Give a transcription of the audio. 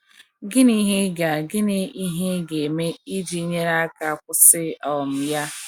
Gịnị ihe ịga Gịnị ihe ịga eme iji nyere ya aka ịkwụsị um ya?